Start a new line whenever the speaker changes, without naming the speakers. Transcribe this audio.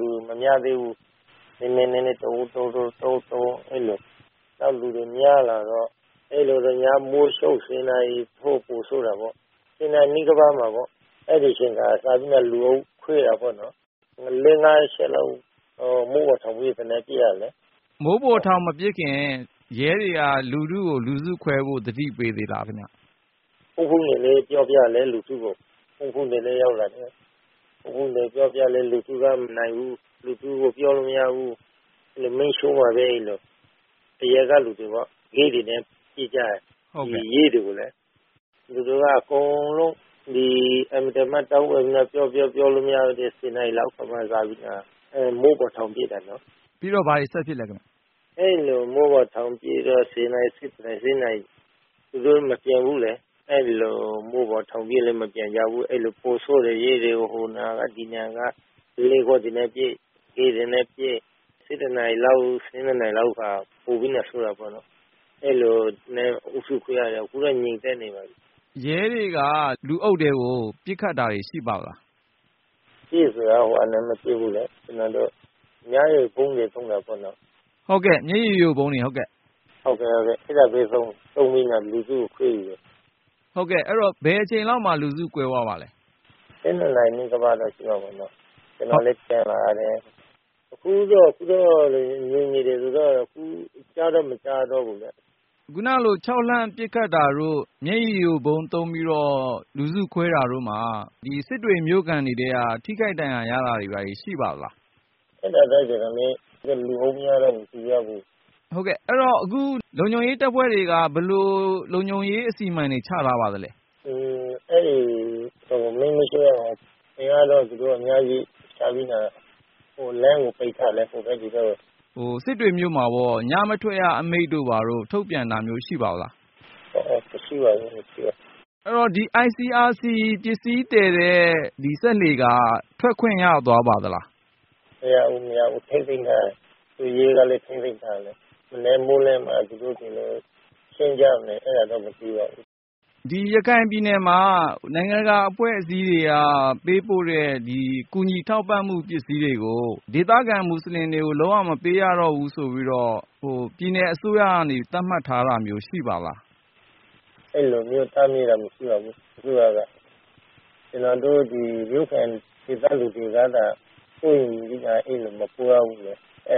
တွေ မများသေးဘူး။ နည်းနည်း နည်းနည်း တိုးတိုး အဲလိုနဲ့ လူတွေ များလာတော့ အဲလိုနဲ့ ညမိုးချုပ် ၁၀ နာရီ ပိုဆိုးတာပေါ့။ ၁၀ နာရီနီးပါး အဲဒီအချိန်က စပြီး လူစုခွဲတာပေါ့နော်။ ၄-၅ ချက်လောက် မိုးပေါ်ထောင်ပြီး သေနတ်ပစ်ရတယ်။
မိုးပေါ် ထောင်မပစ်ခင် ရဲတွေက လူထုကို လူစုခွဲဖို့ သတိပေးသေးလား ခင်ဗျ။
ပြောပြတယ် လူထုကို။ လူထုက မနိုင်ဘူး။ လူထုကို ပြောလို့ မရဘူး။ အဲလို မီးရှို့မယ်။ လူတွေပေါ့ မီးတွေနဲ့ ပစ်ကြတယ်။ သူတို့က အင်မတန်မှ တောင်းပန်ပြီး ပြောပြော ပြောလို့မရတော့ နောက်ဆုံး မိုးပေါ်ထောင်ပစ်တာနော်။
ပြီးတော့ ဘာတွေ ဆက်ဖြစ်လဲ ခင်ဗျ။
အဲလို မိုးပေါ်ထောင်ပစ်တော့ ၁၀ နာရီ ၁၁ နာရီ သူတို့ မပြန်ဘူးလေ။ မိုးပေါ်ထောင်ပစ်လည်း မပြန်ကြဘူး။ ပိုဆိုးတယ်။ ရဲတွေကို ဟိုနေရာက ဒီနေရာက ပုလင်းခွံ့တွေနဲ့ပစ်၊ ခဲတွေနဲ့ ပစ်။ ၁၁ နာရီလောက် ၁၂ နာရီလောက် ပိုပြီးတော့ ဆိုးတာပေါ့နော်။ အဲလိုနဲ့ အုပ်စုခွဲရတယ်။ အခုတော့ ငြိမ်သက်နေပါပြီ။
ရဲတွေက လူအုပ်ထဲကို ပစ်ခတ်တာတွေ ရှိပါသလား။
ပစ် ဆိုတာ အဲလို မပစ်ဘူးလေ။ ကျနော်တို့ မျက်ရည်ယိုဗုံးတွေ သုံးတာပေါ့လေ။ အဲဒါသုံးပြီး လူထုကိုခွဲတယ်။
ဟုတ်ကဲ့၊ အဲဒီတော့ ဘယ်အချိန်လောက်မှာ လူစုကွဲသွားပါသလဲ။
၁၂ နာရီတော့ ကျော်သွားတယ်။ ကျနော်လည်း ပြန်လာတယ်။ အခုတော့ ငြိမ်နေတယ်။ အခု ကြားတော့ မကြားတော့ဘူး။
ခုနကလို ခြောက်လှန့် ပစ်ခတ်တာတို့ မျက်ရည်ယိုဗုံးသုံးပြီးတော့ လူစုခွဲတဲ့အခါ စစ်တွေမြို့ခံတွေ ထိခိုက်ဒဏ်ရာရတာတွေ ရှိပါသလား။
အဲဒါတော့ လူအုပ်များတော့ မသိရဘူး။
အဲဒီတော့ အခု လုံခြုံရေးတပ်ဖွဲ့တွေက လုံခြုံရေးအစီအမံ ဘယ်လိုချထားပါသလဲ။
အဲဒီ မီးမရှို့ရအောင် အင်အားတော့ သူတို့ အများကြီးချပြီး လမ်းကို ပိတ်ထားတယ်။ ဟိုဘက်သည်ဘက်ပေါ့။
စစ်တွေမြို့မှာ ညမထွက်ရ အမိန့်တို့ဘာတို့ ထုတ်ပြန်တာ ရှိပါသလား။
မရှိပါနော်။ မရှိပါ။
အဲဒီတော့ ဒီ ICRC ပစ္စည်းသယ်တဲ့ စက်လှေက ထွက်ခွင့်ရသွားပါသလား။
မရဘူး၊ မရဘူး။ ထိန်းသိမ်းထားတာ။ ရဲကလည်း ထိန်းသိမ်းထားတယ်။ မနက်မိုးလင်းမှ သူတို့တွေလည်း ရှင်းကြမယ်။
ရခိုင်ပြည်နယ်မှာ နိုင်ငံတကာ အဖွဲ့အစည်းတွေက ပေးပို့တဲ့ ကူညီထောက်ပံ့မှု ပစ္စည်းတွေကို ဒေသခံမူဆလင်တွေကို လုံးဝ မပေးရတော့ဘူး ဆိုပြီးတော့ ပြည်နယ်အစိုးရကနေ သတ်မှတ်ထားတာမျိုး ရှိပါသလား။
အဲဒီလိုမျိုး တားမြစ်တာ မရှိပါဘူး။ အခုဟာက ကျနော်တို့ မြို့ခံ ဒေသလူတွေကသာ ဖြစ်နေကြတာ အဲလို မပို့ရဘူး အဲဒါ